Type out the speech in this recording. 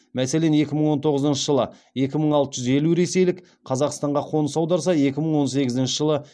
мәселен екі мың он тоғызыншы жылы екі мың алты жүз елу ресейлік қазақстанға қоныс аударса екі мың он сегізінші жылы